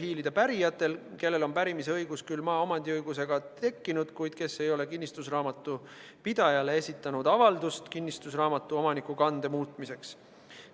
hiilida pärijatel, kellele on pärimise käigus küll maa omandiõigus tekkinud, kuid kes ei ole kinnistusraamatupidajale esitanud avaldust kinnistusraamatu omanikukande muutmiseks.